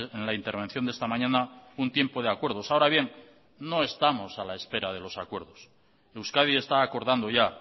en la intervención de esta mañana un tiempo de acuerdos ahora bien no estamos a la espera de los acuerdos euskadi está acordando ya